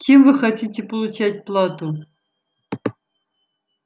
чем вы хотите получать плату